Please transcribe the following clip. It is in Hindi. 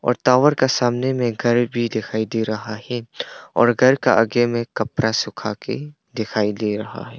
और टावर का सामने में घर भी दिखाई दे रहा है और घर का आगे में कपरा सूखा के दिखाई दे रहा है।